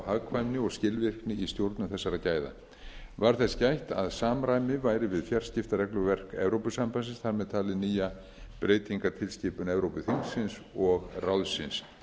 hagkvæmni og skilvirkni í stjórnun þessara gæða var þess gætt að samræmi væri við fjarskiptaregluverk evrópusambandsins þar með talið nýja breytingartilskipun evrópuþingsins og ráðsins